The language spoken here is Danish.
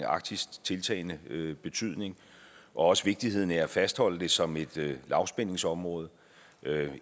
arktis tiltagende betydning og også vigtigheden af at fastholde det som et lavspændingsområde det